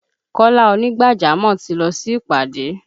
Kọ́lá ònígbàjámọ̀ ti lọ sí ìpàdé